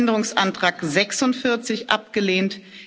Änderungsantrag 46 abgelehnt